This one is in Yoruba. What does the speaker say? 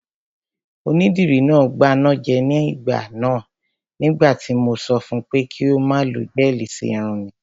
Onídìrí náà gbanájẹ ní ìgbà náà nígbà tí mo sọ fun pé kí ó má lo gẹ́ẹ̀lì sí irun mi